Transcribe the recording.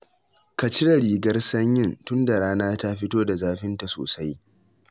Ka cire rigar sanyin tunda rana ta fito da zafinta sosai